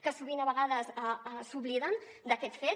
que sovint a vegades s’obliden d’aquest fet